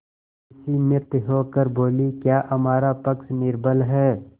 विस्मित होकर बोलीक्या हमारा पक्ष निर्बल है